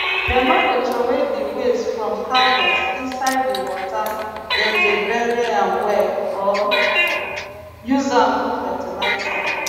dem no dey troway di waste from harvest inside di wata dem dey bury am well or use am do fertilizer